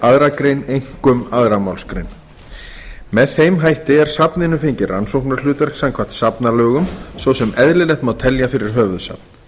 aðra grein einkum annarrar málsgreinar með þeim hætti er safninu fengið rannsóknarhlutverk samkvæmt safnalögum svo sem eðlilegt má telja fyrir höfuðsafn